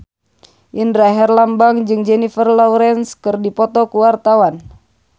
Indra Herlambang jeung Jennifer Lawrence keur dipoto ku wartawan